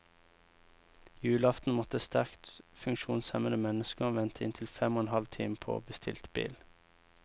Julaften måtte sterkt funksjonshemmede mennesker vente inntil fem og en halv time på bestilt bil.